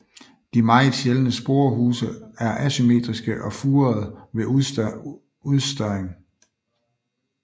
De meget sjældne sporehuse er asymmetriske og furede ved udstørring